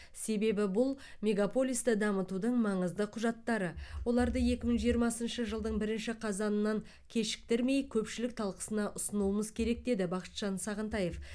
себебі бұл мегаполисті дамытудың маңызды құжаттары оларды екі мың жиырмасыншы жылдың бірінші қазанынан кешіктірмей көпшілік талқысына ұсынуымыз керек деді бақытжан сағынтаев